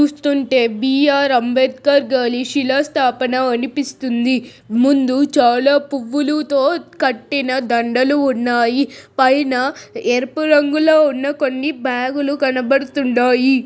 చూస్తుంటే బి_ఆర్ అంబేద్కర్ గారి శిలశాశానంగా అనిపిస్తుంది. ముందు చాలా పువ్వులతో కట్టిన దండలు ఉన్నాయి. పైన ఎరుపు రంగులో ఉన్న కొన్ని బాగులు కనబడుతున్నాయి.